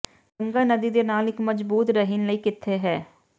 ਗੰਗਾ ਨਦੀ ਦੇ ਨਾਲ ਇੱਕ ਮਜਬੂਤ ਰਹਿਣ ਲਈ ਕਿੱਥੇ ਹੈ